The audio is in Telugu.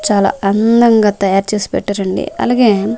చాలా అందంగా తయారు చేసి పెట్టారండి అలగే--